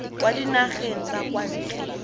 kwa dinageng tsa kwa ntle